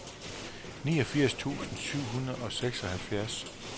niogfirs tusind syv hundrede og seksoghalvfjerds